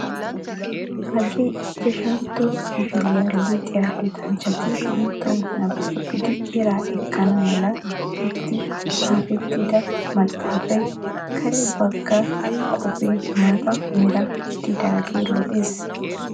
Hagee ichchashshantto kifiliyaa luxiyaa luxanchchati banttawu nababidi eraa ekkana mala getetti xaafettida maxaafay kare bagga koppee maata mera gididaagee lo"ees!